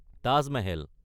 Taj Mahal